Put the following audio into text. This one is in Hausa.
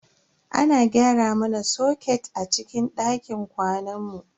Ana gyara mana soket a cikin dakin kwanan mu.